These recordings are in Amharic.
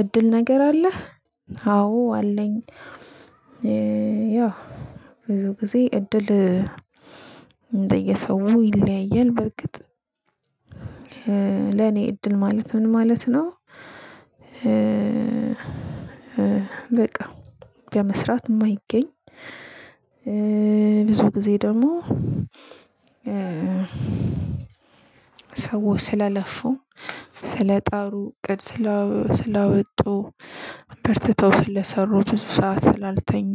እድል ነገር አለ። ህ አዎ አለኝ። ያው ጊዜ እድል እንደየሰው ይለያያል። በርግጥ ለኔ እድል ማለት ምን ማለት ነው? በቃ በመስራት የማይገኝ። ብዙ ጊዜ ደግሞ ሰው ስለለፉ ስለጣሩ እቅድ ስላወጡ በርትተው ስለሰሩ ብዙ ሰዓት ስላልተኙ።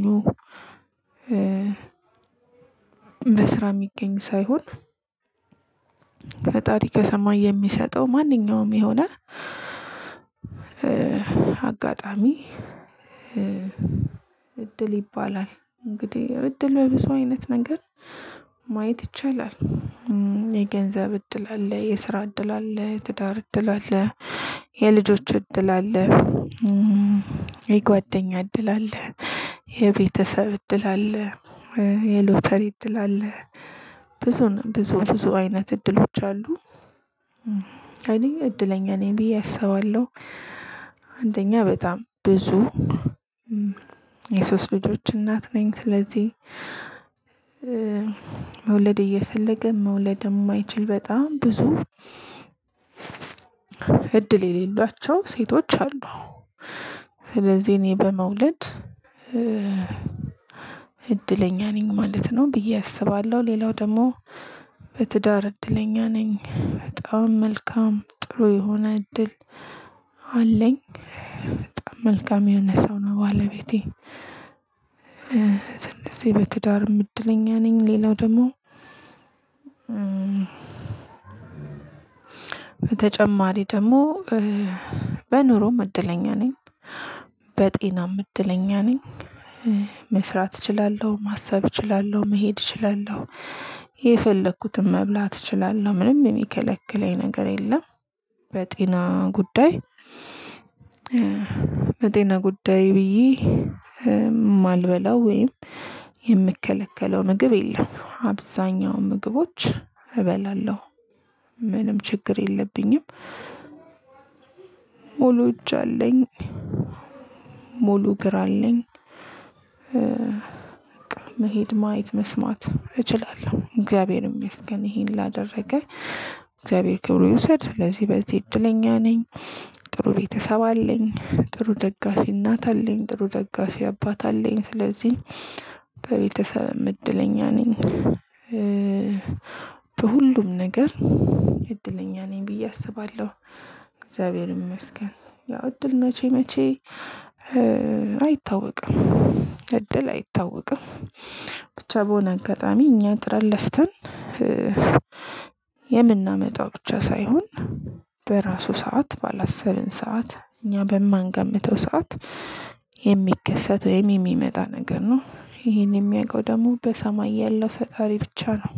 በስራ የሚገኝ ሳይሆን ፈጣሪ ከሰማይ የሚሰጠው ማንኛውም የሆነ አጋጣሚ እድል ይባላል። እንግዲህ እድል በብዙ አይነት ነገር ማየት ይቻላል። የገንዘብ እድል አለ የስራ እድል አለ ትዳር እድል አለ የልጆች እድል አለ የጓደኛ እድል አለ የቤተሰብ እድል አለ የሎተሪ እድል አለ ብዙ ብዙ ብዙ አይነት እድሎች አሉ። እኔ እድለኛ ነኝ ብዬ አሰባለሁ። አንደኛ በጣም ብዙ የሶስት ልጆች እናት ነኝ። ስለዚህ መውለድ እየፈለገ መውለድ የማይችል በጣም ብዙ እድል የሌሏቸው ሴቶች አሉ። ስለዚህ እኔ በመውለድ እድለኛ ነኝ ማለት ነው ብዬ አስባለሁ። ሌላው ደግሞ በትዳር እድለኛ ነኝ በጣም መልካም ጥሩ የሆነ እድል አለኝ በጣም መልካም የሆነ ሰው ነው ባለቤቴ። ስለዚሄ በትዳርም እድለኛ ነኝ። ሌላው ደግሞ በተጨማሪ ደግሞ በኑሮም እድለኛ ነኝ። በጤናም እድለኛ ነኝ። መስራት እችላለሁ ማሰብ እችላለሁ መሄድ እችላለሁ። የፈለኩትን መብላት እችላለሁ ምንም የሚከለክለኝ ነገር የለም። በጤና ጉዳይ በጤና ጉዳይ ብዬ የማልበላው ወይም የምከለከለው ምግብ የለም አብዛኛው ምግቦች እበላለሁ ምንም ችግር የለብኝም። ሙሉ እጅ አለኝ። ሙሉ እግር አለኝ። መሄድ ማየት መስማት እችላለሁ እግዚአብሔርም ያስገን ይሄን ላደረገ እግዚአብሔር ክብሩ ይውሰድ። ስለዚህ በዚህ እድለኛ ነኝ። ጥሩ ቤተሰብ አለኝ ጥሩ ደጋፊ እናት አለኝ ጥሩ ደጋፊ አባት አለኝ ስለዚህ በቤተሰብም እድለኛ ነኝ። በሁሉም ነገር እድለኛ ነኝ ብዬ አስባለሁ እግዚአብሔር ይመስገን። ያው እድል መቼ መቼ አይታወቅም። እድል አይታወቅም። ብቻ በሆነ አጋጣሚ እኛ ጥረን ለፍተን የምናመጣው ብቻ ሳይሆን በራሱ ሰዓት ባላሰብን ሰዓት እኛ በማንገምተው ሰዓት የሚከሰት የሚመጣ ነገር ነው ይሄን የሚያውቀው ደግሞ በሰማይ ያለው ፈጣሪ ብቻ ነው።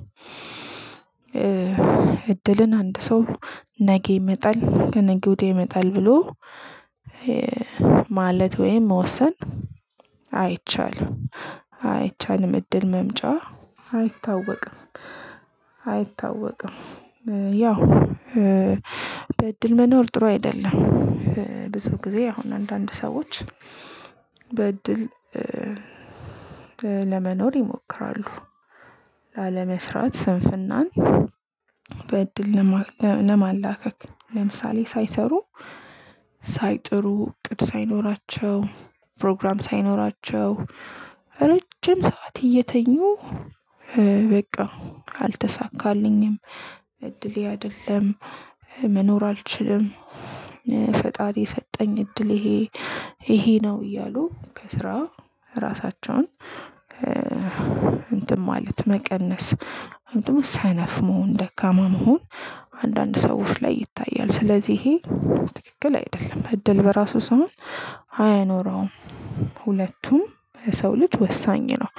እድልን አንድ ሰው ነሀ ይመጣል ነጌ ውዴ ይመጣል ብሎ ማለት ወይም መወሰን አይቻልም። አይቻልም እድል መምጫ አይታወቅም አይታወቅም። ያው በእድል መኖር ጥሩ አይደለም። ብዙ ጊዜ አሁን አንዳንድ ሰዎች በእድል ለመኖር ይሞክራሉ። ላለመስራት ስንፍናን በእድል ለማላከክ ለምሳሌ ሳይሰሩ ሳይጥሩ እቅድ ሳይኖራቸው ፕሮግራም ሳይኖራቸው ረጅም ሰዓት እየተኙ በቃ አልተሳካልኝም እድሌ አይደለም መኖር አልችልም። ፈጣሪ የሰጠኝ እድል ይሄ ይሄ ነው እያሉ ከስራ ራሳቸውን እንትን ማለት መቀነስ ምንድነው ሰነፍ መሆን ደካማ መሆን። አንዳንድ ሰው ውስጥ ላይ ይታያል ስለዚህ ይሄ ትክክል አይደለም። እድል በራሱ ሰውን አያኖረውም። ሁለቱም በሰው ልጅ ወሳኝ ነው።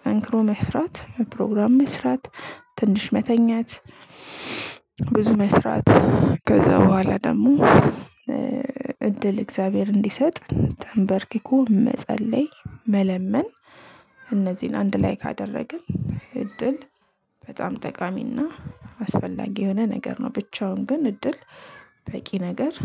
ጠንክሮ መስራት ፕሮግራም መስራት ትንሽ መተኛት ብዙ መስራት ከዛ በኋላ ደግሞ እድል እግዚአብሔር እንዲሰጥ ተንበርክኮ መጸለይ መለመን እነዚህን አንድ ላይ ካደረግን እድል በጣም ጠቃሚና አስፈላጊ የሆነ ነገር ነው። ብቻውን ግን እድል በቂ ነገር